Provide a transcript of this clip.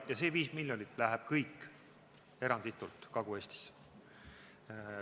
Ja see viis miljonit läheb kõik eranditult Kagu-Eestisse.